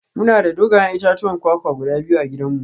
Muna da dogayen itatuwan kwakwa guda biyu a gidanmu